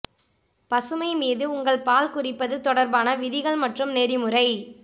பசுமை மீது உங்கள் பால் குறிப்பது தொடர்பான விதிகள் மற்றும் நெறிமுறை